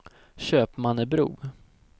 Köpmannebro